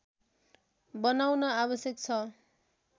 बनाउन आवश्यक छ